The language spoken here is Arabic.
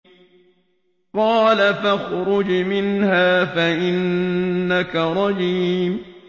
قَالَ فَاخْرُجْ مِنْهَا فَإِنَّكَ رَجِيمٌ